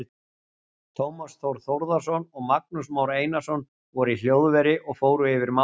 Tómas Þór Þórðarson og Magnús Már Einarsson voru í hljóðveri og fór yfir málin.